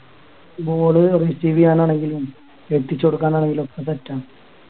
ball receive ചെയ്യാൻ ആണെങ്കിലും എത്തിച്ചു കൊടുക്കാൻ ആണെങ്കിലും ഓൻ set ആണ്